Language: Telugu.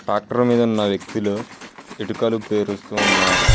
ట్రాక్టర్ మీద ఉన్న వ్యక్తులు ఇటుకలు పేరుస్తూ ఉన్నారు.